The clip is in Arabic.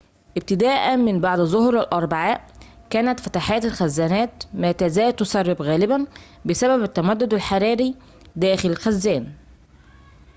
ابتداءً من بعد ظهر الأربعاء كانت فتحات الخزانات ما تزال تسرب غالباً بسبب التمدد الحراري داخل الخزان